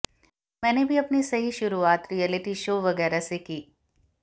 मैंने भी अपनी सही शुरुआत रियलिटी शो वगैरह से की